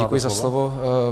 Děkuji za slovo.